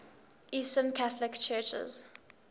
eastern catholic churches